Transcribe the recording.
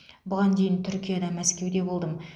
бұған дейін түркияда мәскеуде болдым